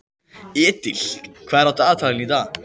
Edil, hvað er á dagatalinu í dag?